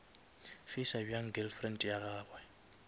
facer bjang girlfriend ya gagwe